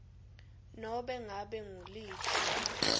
nobe ngabe nguliphi